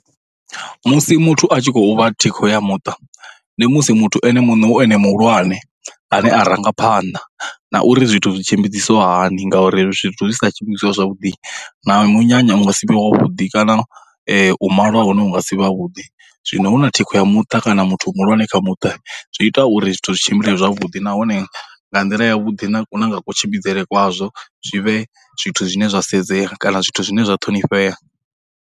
Musi muthu a tshi khou vha thikho ya muṱa, ndi musi muthu ene muṋe hu ene muhulwane ane a ranga phanḓa na uri zwithu zwi tshimbidzisiwa hani ngauri zwithu zwi sa tshimbidziwa zwavhuḓi, na munyanya u nga si vhe wavhuḓi kana u malwa ha hone hu nga si vhe ha vhuḓi. Zwino huna thikho ya muṱa kana muthu muhulwane kha muṱa zwi ita uri zwithu zwi tshimbile zwavhuḓi, nahone nga nḓila ya vhuḓi na na nga kutshimbidzele kwazwo zwi vhe zwithu zwine zwi a sedzea kana zwithu zwine zwa ṱhonifhea.